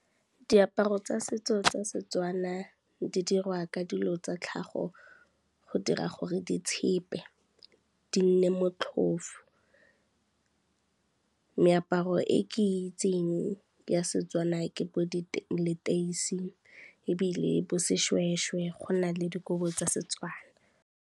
Diaparo tsa setso tsa Setswana di dirwa ka dilo tsa tlhago go dira gore di tshepe di nne motlhofo. Meaparo e ke itsing ya Setswana ke bo leteisi ebile bo seshweshwe, go na le dikobo tsa Setswana.